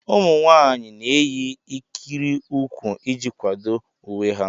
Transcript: Ụmụ nwaanyị na-eyi ikiri ụkwụ iji kwado uwe ha.